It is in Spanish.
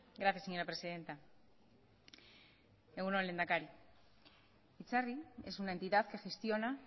gracias señora presidenta egun on lehendakari itzarri es una entidad que gestiona